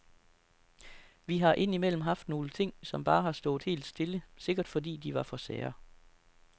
Vi har ind imellem haft nogle ting, som bare har stået helt stille, sikkert fordi de var for sære.